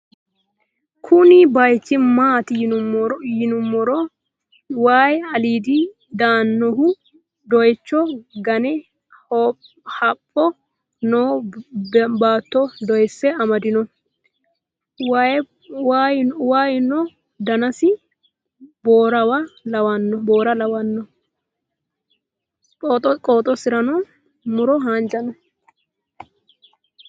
kuunni bayichu maatti yiinumoro wayi alidinni dayinnohu doyicho ga'ne hapicho noo batto doyise amadino wayinpo danasi borawa lawano poxosira muro hanja noo.